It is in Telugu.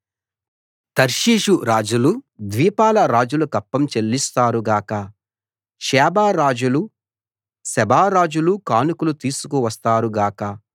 తర్షీషు రాజులు ద్వీపాల రాజులు కప్పం చెల్లిస్తారు గాక షేబ రాజులు సెబా రాజులు కానుకలు తీసుకు వస్తారు గాక